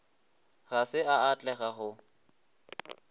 ga se a atlega go